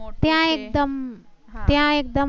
ત્યા એકદમ ત્યા એક્દમ